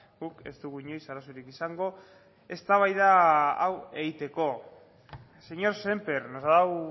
guk ez dugu inoiz arazorik izango eztabaida hau egiteko señor sémper nos ha dado